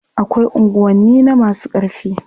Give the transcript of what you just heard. Akwai unguwanni na masu ƙarfi.